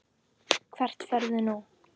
Hvert ferðu nú?